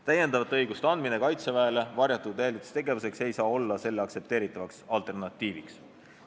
Täiendavate õiguste andmine Kaitseväele varjatud jälitustegevuseks ei saa olla selle aktsepteeritavaks alternatiiviks.